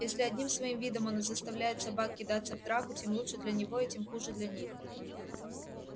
если одним своим видом он заставляет собак кидаться в драку тем лучше для него и тем хуже для них